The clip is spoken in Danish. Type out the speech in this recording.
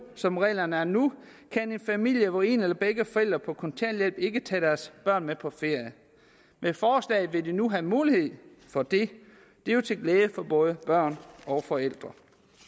som reglerne er nu kan en familie hvor en eller begge forældre er på kontanthjælp ikke tage deres børn med på ferie med forslaget vil de nu have mulighed for det det er jo til glæde for både børn og forældre